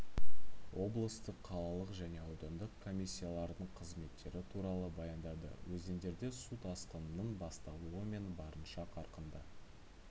облыстық қалалық және аудандық комиссиялардың қызметтері туралы баяндады өзендерде су тасқынының басталуы мен барынша қарқынды